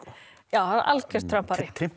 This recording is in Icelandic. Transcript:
algjör Trump Ari